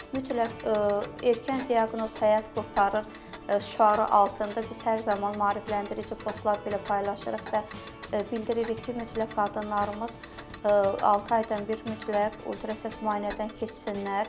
Mütləq erkən diaqnoz həyat qurtarır şüarı altında biz hər zaman maarifləndirici postlar da belə paylaşırıq və bildiririk ki, mütləq qadınlarımız altı aydan bir mütləq ultrasəs müayinədən keçsinlər.